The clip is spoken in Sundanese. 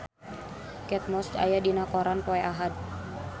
Kate Moss aya dina koran poe Ahad